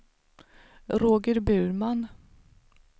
Roger Burman